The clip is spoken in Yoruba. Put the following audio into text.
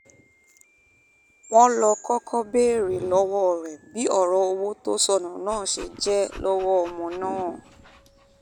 wọ́n ló kọ́kọ́ béèrè lọ́wọ́ rẹ̀ bí ọ̀rọ̀ owó tó sọnù náà ṣe jẹ́ lọ́wọ́ ọmọ náà